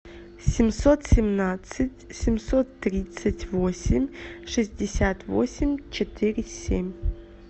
семьсот семнадцать семьсот тридцать восемь шестьдесят восемь четыре семь